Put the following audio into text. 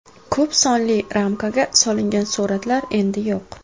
Ko‘p sonli ramkaga solingan suratlar endi yo‘q.